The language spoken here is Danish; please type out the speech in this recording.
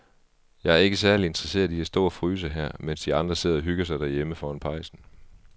Jeg er ikke særlig interesseret i at stå og fryse her, mens de andre sidder og hygger sig derhjemme foran pejsen.